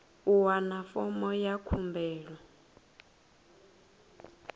u wana fomo ya khumbelo